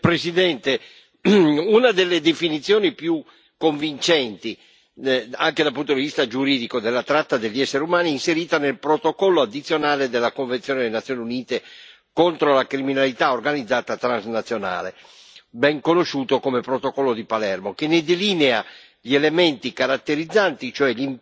Signora Presidente, onorevoli colleghi, una delle definizioni più convincenti, anche dal punto di vista giuridico, della tratta degli essere umani è inserita nel protocollo addizionale della convenzione delle Nazioni Unite contro la criminalità organizzata transnazionale, ben conosciuto come protocollo di Palermo, che ne delinea gli elementi caratterizzanti, cioè